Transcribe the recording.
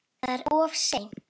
Það er of seint.